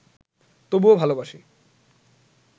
তবুও ভালবাসি